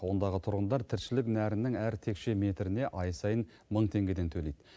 ондағы тұрғындар тіршілік нәрінің әр текше метріне ай сайын мың теңгеден төлейді